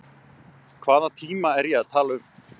Hvaða tíma er ég að tala um?